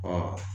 Wa